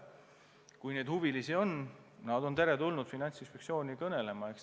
Kui neid huvilisi on, on nad teretulnud Finantsinspektsiooni kõnelema.